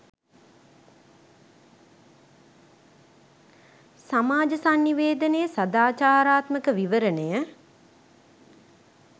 සමාජ සන්නිවේදනය සදාචාරාත්මක විවරණය